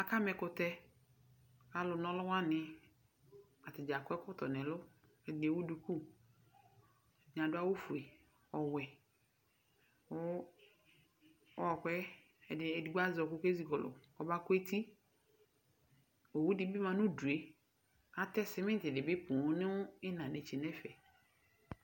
Aka ma ɛkʋtɛ, alʋ naɔlʋ wanɩ, edɩnɩ akɔ ɛkɔtɔ nɛlʋ, ɛdɩnɩ ewu duku, ɛdɩnɩ adʋ awʋ fue ,ɔwɛ, edigbo ezikɔlʋ kɔma kʋ eti, owu dɩ bɩ ma nʋ udue ,atɛ sɩmɩtɩ dɩ bɩ nʋ ɩɩna netse nɛfɛ